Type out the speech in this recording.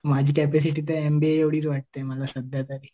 माझी कपॅसिटी तर एमबीए एवढी आहे. ते मला सध्या तर